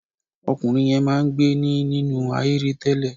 Ọkùnrin yẹn máa ń gbé ní nínú ahéré tẹ́lẹ̀.